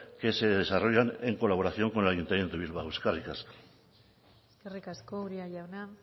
que se desarrollan en colaboración con el ayuntamiento de bilbao eskerrik asko eskerrik asko uria jauna